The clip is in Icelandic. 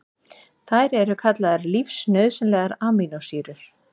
Þær eru kallaðar lífsnauðsynlegar amínósýrur.